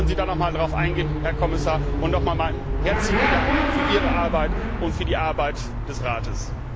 Vielleicht können Sie noch darauf eingehen, Herr Kommissar, und nochmals meinen herzlichen Dank für Ihre Arbeit und für die Arbeit des Rates.